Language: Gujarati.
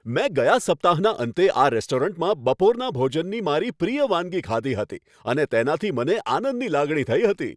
મેં ગયા સપ્તાહના અંતે આ રેસ્ટોરન્ટમાં બપોરના ભોજનની મારી પ્રિય વાનગી ખાધી હતી અને તેનાથી મને આનંદની લાગણી થઈ હતી.